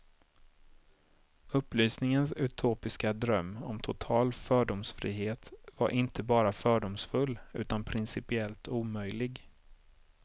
Upplysningens utopiska dröm om total fördomsfrihet var inte bara fördomsfull, utan principiellt omöjlig.